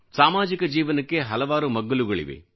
ಸಾಮಾಜಿಕ ಜೀವನಕ್ಕೆ ಹಲವಾರು ಮಗ್ಗುಲುಗಳಿವೆ